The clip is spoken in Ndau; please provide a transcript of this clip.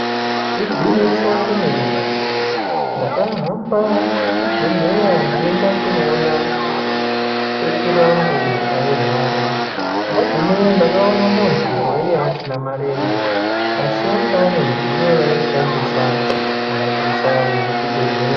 Ingwinyiso re mene mene ndaka hamba kuchi bhedhleya ndeinda kuno ona sekuru angu airwara ndagumeyo ndakaona mundu waiva asina marenje asi wanga ane midziyo ya aishandisa kuhambisa yemuchi bhedhleya.